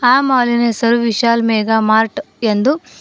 ಆ ಮಾಲಿ ನ ಹೆಸರು ವಿಶಾಲ ಮೆಗಾ ಮಾರ್ಟ್ ಎಂದು --